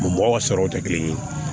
mɔgɔw ka saraw tɛ kelen ye